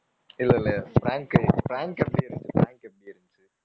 இல்ல இல்ல prank prank எப்படி இருந்துச்சு prank எப்படி இருந்துச்சு.